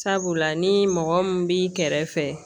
Sabula ni mɔgɔ min b'i kɛrɛfɛ